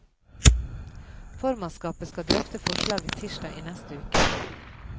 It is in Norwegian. Formannskapet skal drøfte forslaget tirsdag i neste uke.